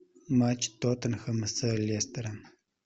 матч тоттенхэм с лестером